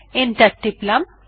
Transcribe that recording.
enter টিপলাম